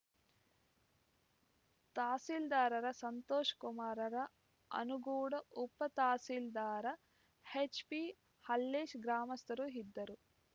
ತಸೀಲ್ದಾರರ ಸಂತೋಷಕುಮಾರರ ಆನುಗೂಡ ಉಪ ತಸೀಲ್ದಾರ ಎಚ್‌ಪಿಹಲ್ಲೇಶ್ ಗ್ರಾಮಸ್ಥರು ಇದ್ದರು